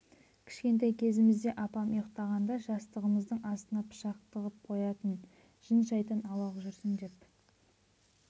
кішкентай кезімізде апам ұйықтағанда жастығымыздың астына пышақ тығып қоятын жын-шайтан аулақ жүрсін деп